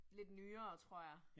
Lidt nyere tror jeg